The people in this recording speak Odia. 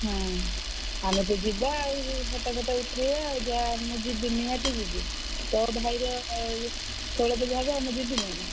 ହୁଁ ଆମେ ତ ଯିବା ଆଉ photo ମୁଁ ଯିବି ନିହାତି ଯିବି ତୋର ଭାଇର ଷୋଳ ପୁଜା ହବ ଆଉ ମୁଁ ଯିବିନି ନା।